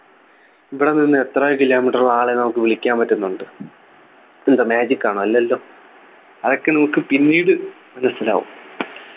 ഇവിടെ നിന്ന് എത്ര Kilometre ഉള്ള ആളെ നമുക്ക് വിളിക്കാൻ പറ്റുന്നുണ്ട് ഇതെന്ത് magic ആണോ അല്ലല്ലോ അതൊക്കെ നമുക്ക് പിന്നീട് മനസിലാവും